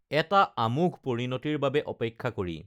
এটা আমোঘ পৰিণতিৰ বাবে অপেক্ষা কৰি